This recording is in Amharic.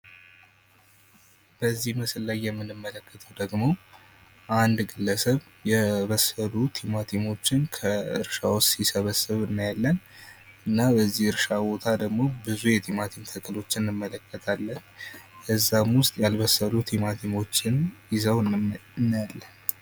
በዚህ ምስል ላይ የምንመለከተው ደግሞ አንድ ግለሰብ የበሰሉ ቲማቲሞችን ከእርሻ ውስጥ ሲሰበስብ እናያለን። በዚህ እርሻ ውስጥ ደግሞ ብዙ የቲማቲም ተክሎችን እንመለከታለን ከዛም ውስጥ ያልበሰሉት ቲማቲሞችን ይዘው እናያለን።